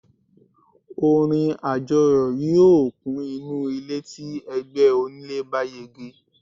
orin ajọyọ̀ yíò kun inú ilé ti ẹgbẹ onílé bá yege